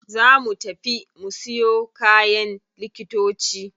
Za mu tafi mu siyo kayan likitoci.